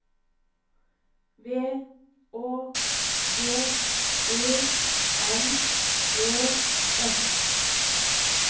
V Å G E N E S